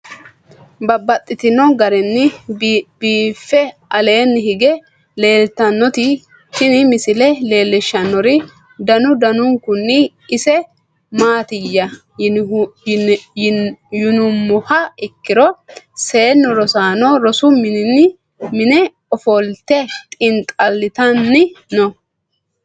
Babaxxittinno garinni biiffe aleenni hige leelittannotti tinni misile lelishshanori danu danunkunni isi maattiya yinummoha ikkiro seennu rosaanno rosu minne offolitte xiinixallittanni noo.